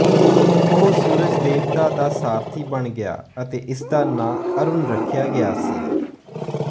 ਉਹ ਸੂਰਜ ਦੇਵਤਾ ਦਾ ਸਾਰਥੀ ਬਣ ਗਿਆ ਅਤੇ ਇਸ ਦਾ ਨਾਂ ਅਰੂਣ ਰੱਖਿਆ ਗਿਆ ਸੀ